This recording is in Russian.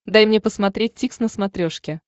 дай мне посмотреть дтикс на смотрешке